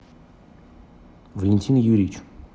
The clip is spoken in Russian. валентин юрьевич